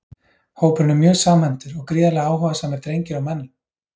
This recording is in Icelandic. Hópurinn er mjög samhentur og gríðarlega áhugasamir drengir og menn!